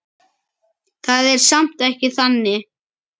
Það er samt ekki þannig.